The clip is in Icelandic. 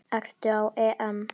Aftur á EM.